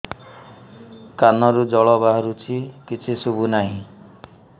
କାନରୁ ଜଳ ବାହାରୁଛି କିଛି ଶୁଭୁ ନାହିଁ